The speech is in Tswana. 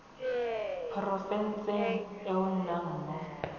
porofenseng e o nnang mo